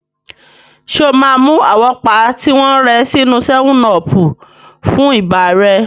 Ṣé o máa mu àwọ́pá tí wọ́n rẹ sínú 7 ọọ̀pù fún ibà rẹ?